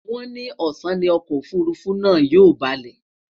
wón ni ọsán ní Ọkọ òfurufú náà yóò baalé